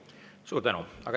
Suur tänu!